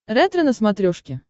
ретро на смотрешке